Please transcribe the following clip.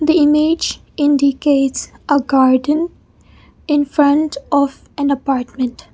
the image indicates a garden in front of an apartment.